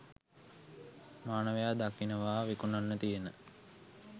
මානවයා දකිනවා විකුනන්න තියන